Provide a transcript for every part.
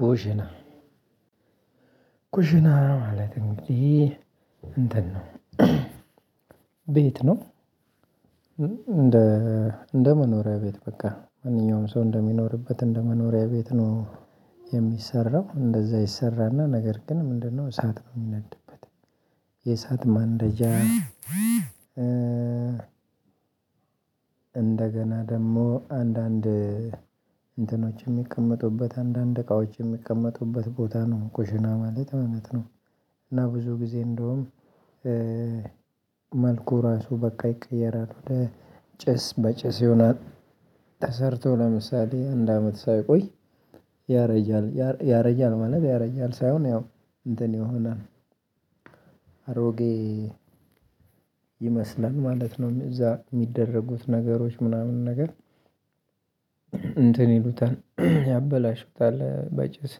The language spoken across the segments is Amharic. ኩሽና ኩሽና ማለት እንግዲህ እንትን ነው ቤት ነው። እንደ እንደ መኖሪያ ቤት በቃ ማንኛውም ሰው እንደሚኖርበት እንደመኖሪያ ቤት ነው የሚሰራው እንደዛ ይሰራና ነገር ግን ምንድነው እሳት ነው የሚናድበት። የእሳት ማንደጃ። እንደገና ደግሞ አንዳንድ እንትኖች የሚቀመጡበት አንዳንድ እቃዎች የሚቀመጡበት ቦታ ነው ቁሽና ማለት ማለት ነው። እና ብዙ ጊዜ እንደውም መልኩ ራሱ በቃ ይቀየራል። ጭስ በጭስ ይሆናል። ተሰርቶ ለምሳሌ አንድ አመት ሳይቆይ ያረጃል ያረጃል ማለት ያረጃል ሳይሆን ያው እንትን ይሆናል። አሮጌ ይመስላል ማለት ነው። እዛ የሚደረጉት ነገሮች ምናምን ነገር እንትን ይሉታል ያበላሹታል በጭስ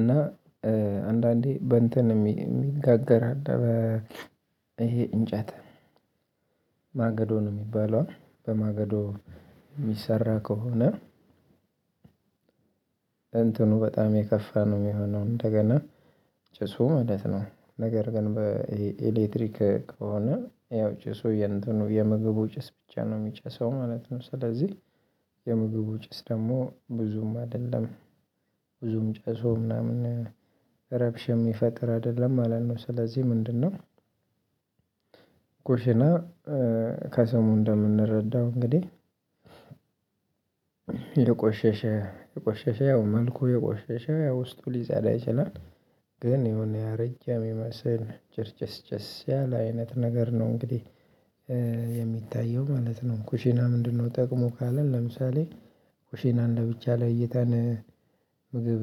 እና አንዳንዴ በእንትን የሚ የሚጋገር አለ። ይሄ እንጨት ማገዶ ነው የሚባለው በማገዶ የሚሰራ ከሆነ። እንትኑ በጣም የከፋ ነው የሚሆነው እንደገና ጭሱ ማለት ነው ነገር ግን በኤሌክትሪክ ከሆነ ያው ጭሱ የምግቡ ጭስ ብቻ ነው የሚጨሰው ማለት ነው። ስለዚህ የምግቡ ጭስ ደግሞ ብዙም አይደለም። ብዙም ጭሶ ምናምን ረብሻ የሚፈጥር አይደለም ማለት ነው። ስለዚህ ምንድነው? ኩሽና ከስሙ እንደምንረዳው እንግዲህ የቆሸሸ የቆሸሸ ያው መልኩ የቆሸሸ ያው ውስጡ ሊፀዳ ይችላል። ግን የሆነ ያረጀ የሚመስል ጭርጭስጭስ ያለ አይነት ነገር ነው እንግዲህ የሚታየው ማለት ነው። ኩሽና ምንድነው? ጥቅሙ ካለን ለምሳሌ ኩሽናን ለብቻ ላይታን ምግብ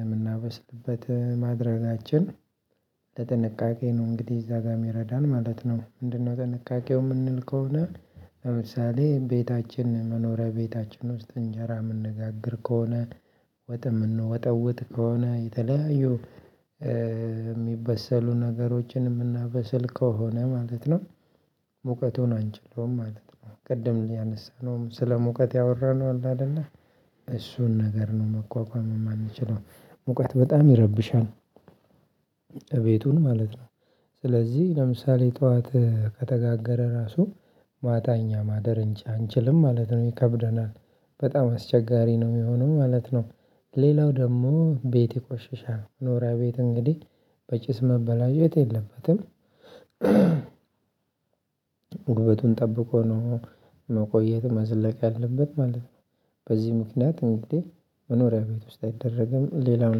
የምናበስልበት ማድረጋችን ለጥንቃቄ ነው እንግዲህ እዛ ጋር የሚረዳን ማለት ነው። ምንድነው ጥንቃቄው? የምንል ከሆነ ለምሳሌ ቤታችን መኖሪያ ቤታችን ውስጥ እንጀራ የምንጋግር ከሆነ ወጥ የምንወጠውጥ ከሆነ የተለያዩ የሚበሰሉ ነገሮችን የምናበስል ከሆነ ማለት ነው። ሙቀቱን አንችለውም ማለት ነው ቅድም እንዳነሳነውም ስለሙቀት ያወራነው አለ አይደለ እሱን ነገር ነው መቋቋም የማንችለው ሙቀት በጣም ይረብሻል። እቤቱን ማለት ነው። ስለዚህ ለምሳሌ ጠዋት ከተጋገረ ራሱ ማታ እኛ ማደር እን አንችልም ማለት ነው ይከብደናል በጣም አስቸጋሪ ነው የሚሆነው ማለት ነው። ሌላው ደግሞ ቤት ይቆሽሻል መኖሪያ ቤት እንግዲህ በጭስ መበላሸት የለበትም። ውበቱን ጠብቆ ነው መቆየት መዝለቅ ያለበት ማለት ነው። በዚህ ምክንያት እንግዲህ መኖሪያ ቤት ውስጥ አይደረግም። ሌላው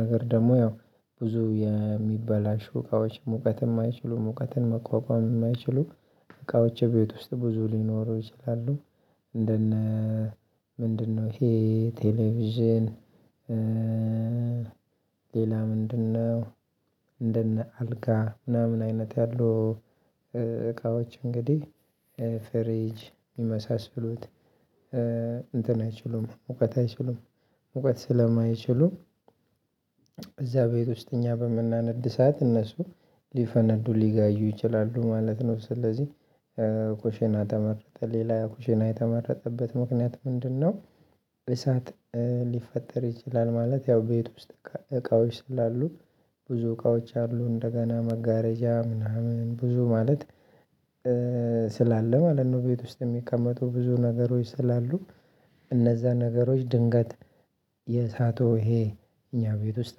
ነገር ደግሞ ያው ብዙ የሚበላሹ እቃዎች ሙቀትን የማይችሉ ሙቀትን መቋቋም የማይችሉ እቃዎች ቤት ውስጥ ብዙ ሊኖሩ ይችላሉ። እንደነ ምንድነው? ይሄ ቴሌቪዥን። ሌላ ምንድነው? እንደነ አልጋ ምናምን አይነት ያሉ እቃዎች እንግዲህ ፍሪጅ የመሳሰሉት እንትን አይችሉም ሙቀት አይችሉም። ሙቀት ስለማይችሉ እዛ ቤት ውስጥ እኛ በምናነድ እሳት እነሱ ሊፈነዱ ሊጋዩ ይችላሉ ማለት ነው። ስለዚህ ኩሽና ተመረጠ ሌላ ኩሽና የተመረጠበት ምክንያት ምንድነው? እሳት ሊፈጠር ይችላል ማለት ያው ቤት ውስጥ እቃዎች ስላሉ ብዙ እቃዎች አሉ እንደገና መጋረጃ ምናምን ብዙ ማለት ስላለ ማለት ነው። ቤት ውስጥ የሚቀመጡ ብዙ ነገሮች ስላሉ እነዛ ነገሮች ድንገት የእሳቱ ይሄ እኛ ቤት ውስጥ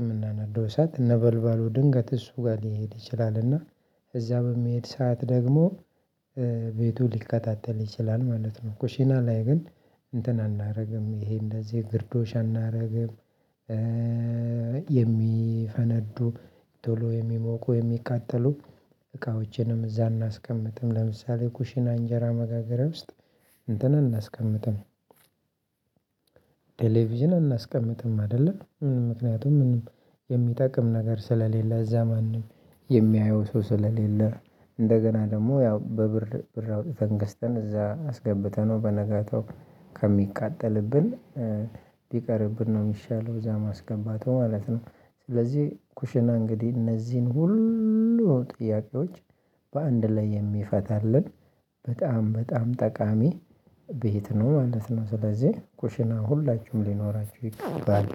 የምናነዳው እሳት ነበልባሉ ድንገት እሱ ጋር ሊሄድ ይችላል እና እዛ በምሄድ ሰዓት ደግሞ ቤቱ ሊቀጣጣል ይችላል ማለት ነው። ኩሺና ላይ ግን እንትን አናደርግም ይሄ እንደዚህ ግርዶሽ አናደርግም። የሚፈነዱ ቶሎ የሚሞቁ የሚቃጠሉ እቃዎችንም እዛ አናስቀምጥም ለምሳሌ ኩሺና እንጀራ መጋገሪያ ውስጥ እንትን አናስቀምጥም። ቴሌቪዥን አናስቀምጥም አይደለ ምንም ምክንያቱም ምንም የሚጠቅም ነገር ስለሌለ እዛ ማንም የሚያየው ሰው ስለሌለ እንደገና ደግሞ ያው በብር ብር አውጥተን ገስተን እዛ አስገብተነው በነጋታው ከሚቃጠልብን ብቀርብን ነው የሚሻለው እዛ ማስገባቱ ማለት ነው። ስለዚህ ኩሽና እንግዲህ እነዚህን ሁሉ ጥያቄዎች በአንድ ላይ የሚፈታልን በጣም በጣም ጠቃሚ ቤት ነው ማለት ነው። ስለዚህ ኩሽና ሁላችሁም ሊኖራችሁ ይገባል።